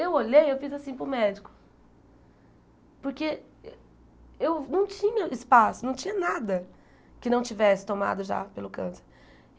Eu olhei e fiz assim para o médico, porque eu não tinha espaço, não tinha nada que não tivesse tomado já pelo câncer.